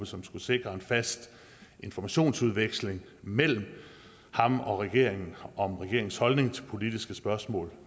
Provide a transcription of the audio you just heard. som skulle sikre en fast informationsudveksling mellem ham og regeringen om regeringens holdning til politiske spørgsmål